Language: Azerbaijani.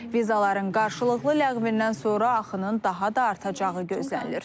Vizaların qarşılıqlı ləğvindən sonra axının daha da artacağı gözlənilir.